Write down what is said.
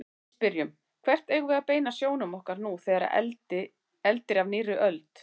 Við spyrjum: Hvert eigum við að beina sjónum okkar nú þegar eldir af nýrri öld?